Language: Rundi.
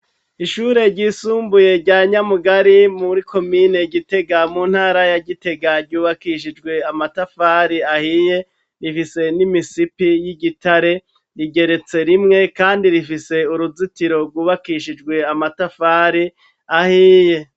Ishure ryisumbuye rya Nyamugari muri komine Gitega mu ntara ya Gitega, yubakishijwe amatafari ahiye rifise n'imisipi y'igitare, rigeretse rimwe kandi rifise uruzitiro rwubakishijwe amatafari ahiye.